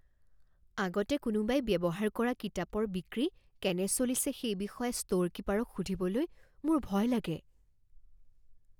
আগতে কোনোবাই ব্যৱহাৰ কৰা কিতাপৰ বিক্ৰী কেনে চলিছে সেই বিষয়ে ষ্ট'ৰ কীপাৰক সুধিবলৈ মোৰ ভয় লাগে।